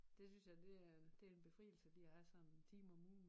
Det synes det er det er en befrielse lige at have sådan en time om ugen